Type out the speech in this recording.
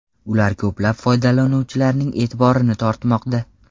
Ular ko‘plab foydalanuvchilarning e’tiborini tortmoqda.